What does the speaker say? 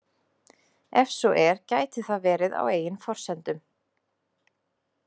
Ef svo er gæti það verið á eigin forsendum?